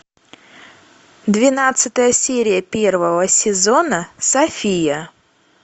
двенадцатая серия первого сезона софия